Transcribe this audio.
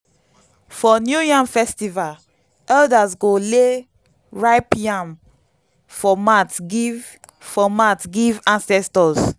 for new yam festival elders go lay ripe yam for mat give for mat give ancestors.